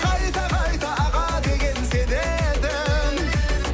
қайта қайта аға деген сен едің